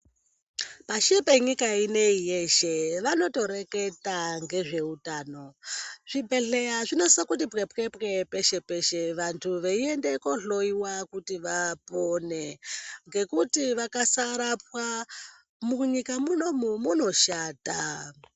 Pashi penyika ineyi yeshe vanotoreketa ngezveutana. Zvibhedhleya zvinosisa kuti pwepwepwe peshe peshe vanthu veiende kohloyiwa kuti vapone. Ngekuti vakasarapwa munyika munomu munoshata.